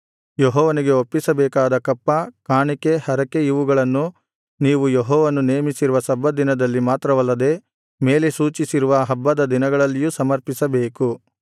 ಯೆಹೋವನಿಗೆ ಒಪ್ಪಿಸಬೇಕಾದ ಕಪ್ಪ ಕಾಣಿಕೆ ಹರಕೆ ಇವುಗಳನ್ನು ನೀವು ಯೆಹೋವನು ನೇಮಿಸಿರುವ ಸಬ್ಬತ್ ದಿನದಲ್ಲಿ ಮಾತ್ರವಲ್ಲದೆ ಮೇಲೆ ಸೂಚಿಸಿರುವ ಹಬ್ಬದ ದಿನಗಳಲ್ಲಿಯೂ ಸಮರ್ಪಿಸಬೇಕು